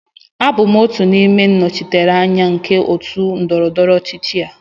Abụ m otu n'ime ndị nnọchiteanya nke otu ndọrọ ndọrọ ọchịchị a